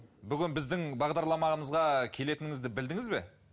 бүгін біздің бағдарламамызға келетіңізді білдіңіз бе